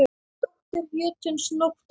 Dóttir jötuns Nótt var.